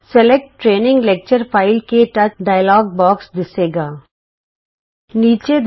select training lecture file ਕੇ ਟੱਚ ਥੇ ਸਿਲੈਕਟ ਟਰੇਨਿੰਗ ਲੈਕਚਰ ਫਾਈਲ - ਕਟਚ ਡਾਇਲੋਗ ਬੌਕਸ ਦਿੱਸੇਗਾ